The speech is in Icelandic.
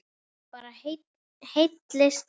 Hún bara hellist yfir.